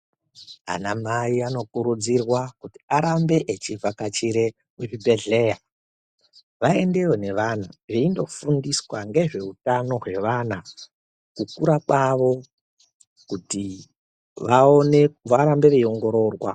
Anamai vanokurudzirwa kuti arambe veivhakachire zvibhedhlera vaendeyo nevana veindoofundiswa ngezveutano hwevana kukura kwavo kuti varambe veiongororwa.